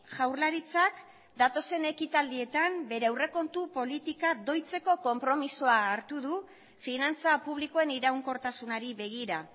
jaurlaritzak datozen ekitaldietan bere aurrekontu politika doitzeko konpromisoa hartu du finantza publikoen iraunkortasunari begira